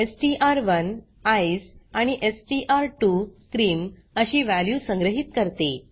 एसटीआर1 ECE आणि STR two क्रीम अशी वॅल्यू संग्रहीत करते